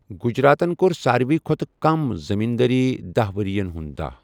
گُجراتن کوٚر ساروےٕ کھۅتہٕ کم زمیندٲری دَہ ؤری ین ہُنٛد دہَ۔